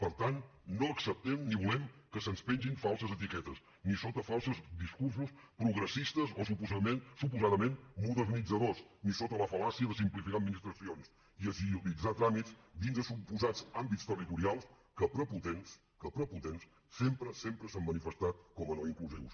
per tant no acceptem ni volem que se’ns pengin falses etiquetes ni sota falsos discursos progressistes o suposadament modernitzadors ni sota la fal·làcia de simplificar administracions i agilitzar tràmits dins de suposats àmbits territorials que prepotents que prepotents sempre sempre s’han manifestat com a no inclusius